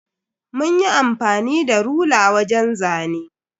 Munyi amfani da rula wajen zane.